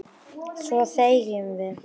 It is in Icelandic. Svo þegjum við.